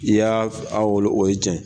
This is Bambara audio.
I y'a a wolo o ye tiɲa ye.